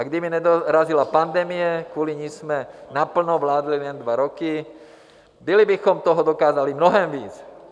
A kdyby nedorazila pandemie, kvůli ní jsme naplno vládli jen dva roky, byli bychom toho dokázali mnohem víc.